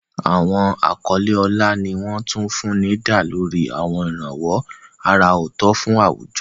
Àwọn àkọlé ọlá ni wọ́n tún fún ní dá lórí àwọn ìrànwọ́ àrà ọ̀tọ̀ fún àwùjọ.